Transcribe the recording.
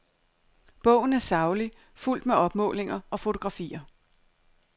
Bogen er saglig, fuldt med opmålinger og fotografier.